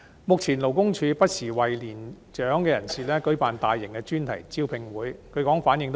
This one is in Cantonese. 目前，勞工處不時為年長人士舉辦大型專題招聘會，據說反應不俗。